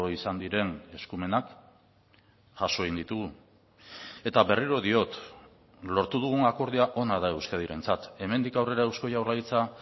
izan diren eskumenak jaso egin ditugu eta berriro diot lortu dugun akordioa ona da euskadirentzat hemendik aurrera eusko jaurlaritza